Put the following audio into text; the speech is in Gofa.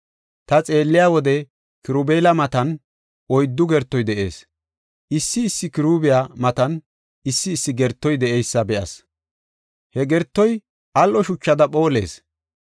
Ta xeelliya wode Kirubeela matan oyddu gertoy de7ees. Issi issi Kiruubiya matan issi issi gertoy de7eysa be7as; he gertoy al7o shuchada phoolees.